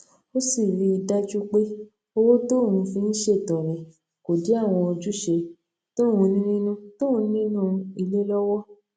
ó sì rí i dájú pé owó tóun fi ń ṣètọrẹ kò dí àwọn ojúṣe tóun ní nínú tóun ní nínú ilé lówó